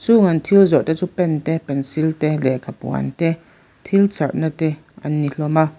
chung an thil zawrh te chu pen te pencil te lehkha puan te thil charh na te an ni hlawm a.